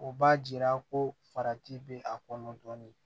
O b'a jira ko farati bɛ a kɔnɔ dɔɔnin